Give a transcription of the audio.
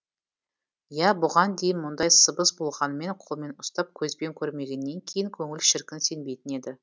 иә бұған дейін мұндай сыбыс болғанымен қолмен ұстап көзбен көрмегеннен кейін көңіл шіркін сенбейтін еді